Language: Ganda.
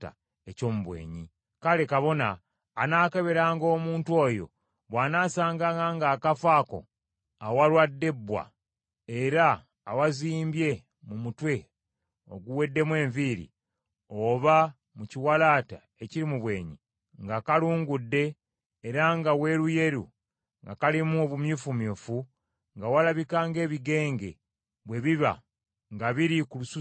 Kale kabona anaakeberanga omuntu oyo, bw’anaasanganga ng’akafo ako awalwadde ebbwa era awazimbye mu mutwe oguweddemu enviiri oba mu kiwalaata ekiri mu bwenyi, nga kalungudde era nga weeruyeru nga kalimu obumyufumyufu, nga walabika ng’ebigenge bwe biba nga biri ku lususu olw’omubiri,